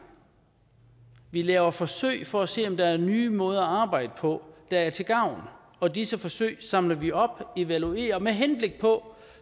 vi laver forsøg for at se om der er nye måder at arbejde på der er til gavn og disse forsøg samler vi op og evaluerer med henblik på